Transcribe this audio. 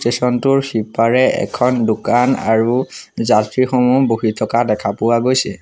Station টোৰ সিপাৰে এখন দোকান আৰু যাত্ৰীসমূহ বহি থকা দেখা পোৱা গৈছে।